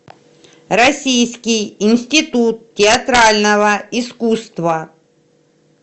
российский институт театрального искусства